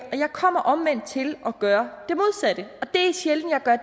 kommer omvendt til at gøre